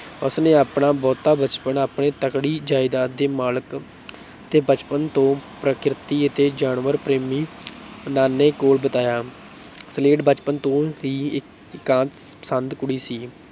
ਉਸ ਨੇ ਆਪਣਾ ਬਹੁਤਾ ਬਚਪਨ ਆਪਣੇ ਤਕੜੀ ਜਾਇਦਾਦ ਦੇ ਮਾਲਕ ਅਤੇ ਬਚਪਨ ਤੋਂ ਪ੍ਰਕਿਰਤੀ ਅਤੇ ਜਾਨਵਰ ਪ੍ਰੇਮੀ ਨਾਨੇ ਕੋਲ ਬਿਤਾਇਆ ਸਲੇਡ ਬਚਪਨ ਤੋਂ ਹੀ ਇ ਇਕਾਂਤ ਪਸੰਦ ਕੁੜੀ ਸੀ।